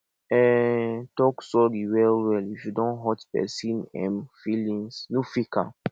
um talk sorry well well if you don hurt person um feelings no fake am